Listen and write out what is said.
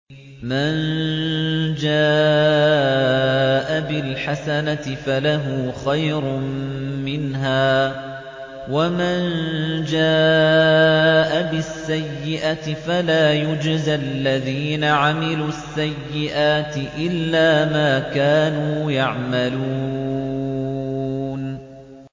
مَن جَاءَ بِالْحَسَنَةِ فَلَهُ خَيْرٌ مِّنْهَا ۖ وَمَن جَاءَ بِالسَّيِّئَةِ فَلَا يُجْزَى الَّذِينَ عَمِلُوا السَّيِّئَاتِ إِلَّا مَا كَانُوا يَعْمَلُونَ